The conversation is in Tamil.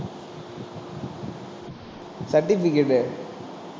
certificate உ